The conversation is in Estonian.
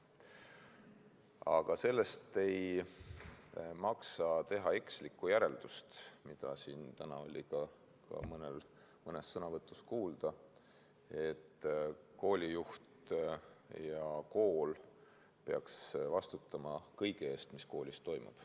Aga sellest ei maksa teha ekslikku järeldust – mida siin täna oli ka mõnes sõnavõtus kuulda –, et koolijuht ja kool peaks vastutama kõige eest, mis koolis toimub.